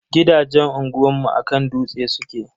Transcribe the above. Gidajen unguwanmu a kan dutse suke.